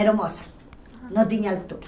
Aeromoça, não tinha altura.